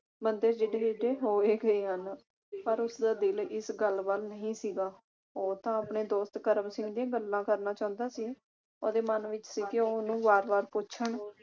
ਬੰਦੇ ਜਿਡੇ ਜਿਡੇ ਹੋ ਹੀ ਗਏ ਆ ਨਾ ਪਰ ਉਸਦਾ ਦਿਲ ਇਸ ਗੱਲ ਵੱਲ ਨਹੀਂ ਸੀਗਾ ਉਹ ਤਾ ਆਪਣੇ ਦੋਸਤ ਕਰਮ ਸਿੰਘ ਦੀਆਂ ਗੱਲਾਂ ਕਰਨਾ ਚਾਹੁੰਦਾ ਸੀ ਉਹਦੇ ਮਨ ਵਿਚ ਸੀ ਕਿ ਉਹ ਉਸਨੂੰ ਵਾਰ ਵਾਰ ਪੱਛਣ